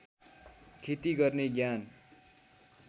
खेती गर्ने ज्ञान